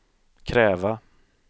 kräva